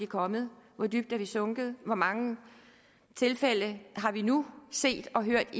kommet hvor dybt er vi sunket i hvor mange tilfælde har vi nu set og hørt